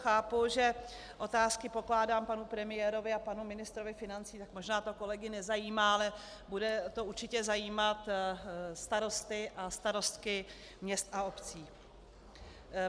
Chápu, že otázky pokládám panu premiérovi a panu ministrovi financí, tak možná to kolegy nezajímá, ale bude to určitě zajímat starosty a starostky měst a obcí.